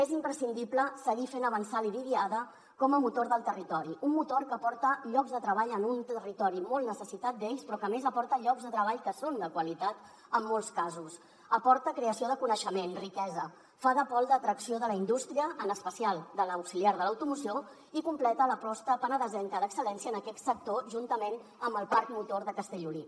és imprescindible seguir fent avançar la idiada com a motor del territori un motor que aporta llocs de treball en un territori molt necessitat d’ells però que a més aporta llocs de treball que són de qualitat en molts casos aporta creació de coneixement riquesa fa de pol d’atracció de la indústria en especial de l’auxiliar de l’automoció i completa l’aposta penedesenca d’excel·lència en aquest sector juntament amb el parcmotor de castellolí